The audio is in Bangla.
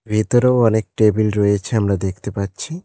ভেতরেও অনেক টেবিল রয়েছে আমরা দেখতে পাচ্ছি।